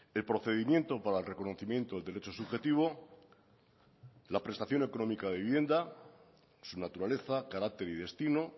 el procedimiento para el reconocimiento del derecho subjetivo la prestación económica de vivienda su naturaleza carácter y destino